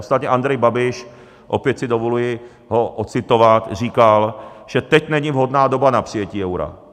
Ostatně Andrej Babiš, opět si dovoluji ho odcitovat, říkal, že teď není vhodná doba na přijetí eura.